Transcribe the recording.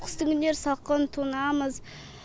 қыстың күндері салқын тоңамыз